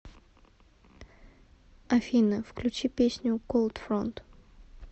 афина включи песню колдфронт